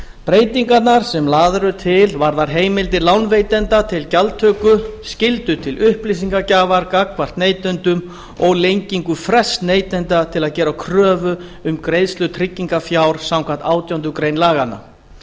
breytingarnar sem lagðar eru til varða heimildir lánveitenda til gjaldtöku skyldu til upplýsingagjafar gagnvart neytendum og lengingu frests neytenda til að gera kröfu um greiðslu tryggingarfjár samkvæmt átjándu grein laganna